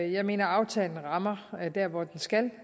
i jeg mener at aftalen rammer der hvor den skal